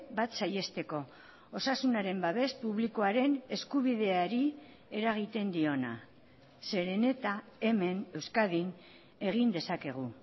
bat saihesteko osasunaren babes publikoaren eskubideari eragiten diona zeren eta hemen euskadin egin dezakegu